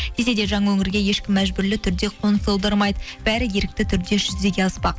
десе де жаңа өңірге ешкім мәжбүрлі түрде қоныс аудармайды бәрі ерікті түрде жүзеге аспақ